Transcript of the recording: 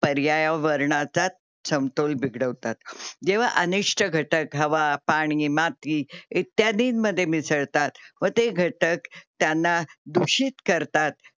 जेव्हा अनिष्ट घटक हवा, पाणी, माती इत्यादींमध्ये मिसळतात व ते घटक त्यांना दूषित करतात. पर्यावरणाचा समतोल बिघडता.